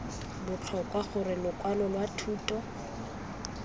botlhokwa gore lokwalo lwa thuto